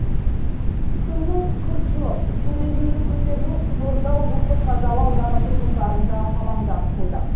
күннің күрт жылып су деңгейінің көтерілуі қызылорда облысы қазалы ауданы тұрғындарын да алаңдатып қойды